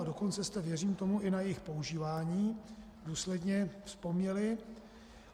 A dokonce jste, věřím tomu, i na jejich používání důsledně vzpomněli.